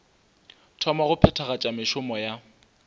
thoma go phethagatša mešomo ya